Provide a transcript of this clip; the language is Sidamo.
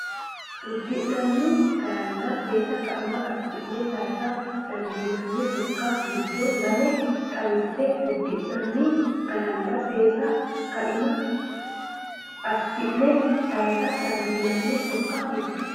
Uddinanni garanna seesa kaima assi’ne sayisa dandiinanni sokka giddo lame xawisse Uddinanni garanna seesa kaima assi’ne sayisa dandiinanni sokka giddo.